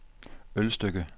Ølstykke